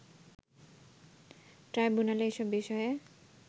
ট্রাইব্যুনালে এসব বিষয়ে